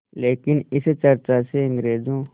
लेकिन इस चर्चा से अंग्रेज़ों